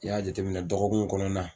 I y'a jate minɛ dɔgɔkun kɔnɔna